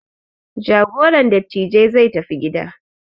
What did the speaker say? Jagoran dattijai zai tafi gida.